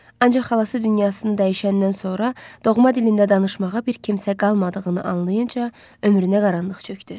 Ancaq xalası dünyasını dəyişəndən sonra doğma dilində danışmağa bir kimsə qalmadığını anlayınca ömrünə qaranlıq çökdü.